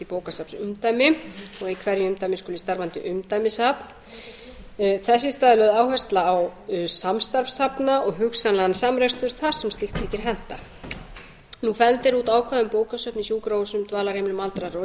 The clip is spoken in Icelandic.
í bókasafnsumdæmi og í hverju umdæmi skuli starfandi umdæmissafn þess í stað er lögð áhersla á samstarf safna og hugsanlegan samrekstur þar sem slíkt þykir henta það er út af ákvæðum um bókasöfn í sjúkrahúsum dvalarheimilum og aldraðra og